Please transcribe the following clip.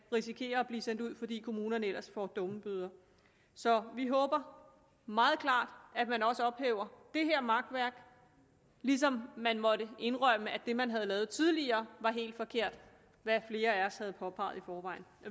risikerer at blive sendt ud fordi kommunerne ellers får dummebøder så vi håber meget klart at man også ophæver det her makværk ligesom man måtte indrømme at det man havde lavet tidligere var helt forkert hvad flere af os havde påpeget i forvejen